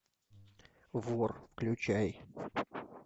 вор включай